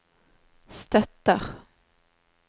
støtter